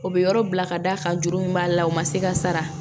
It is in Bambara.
O bɛ yɔrɔ bila ka d'a kan juru min b'a la o ma se ka sara